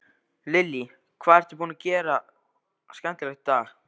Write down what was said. Lillý: Hvað ertu búinn að gera skemmtilegt í dag?